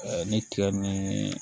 ni tigɛ ni